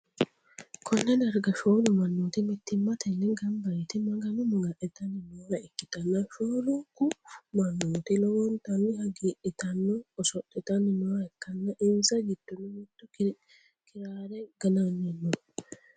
Konne darga shoolu mannooti mittimmatenni gamba yite magano maga'nitanni noore ikkitanna, shoolunkubmannooti lowontanni hagiidhitanni oso'litanni nooha ikkanna, insa giddoonni mittu kiraare gananni no.